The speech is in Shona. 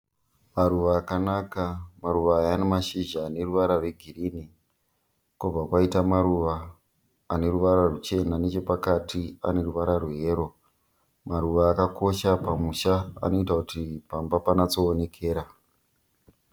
Maruva akanaka. Maruva aya ane mashizha ane ruvara rwegirinhi kwobva kwaita maruva ane ruvara ruchena. Nechepakati pane ruvara rweyero. Maruva aya akakosha pamusha anoita kuti pamba panyatsoonekera.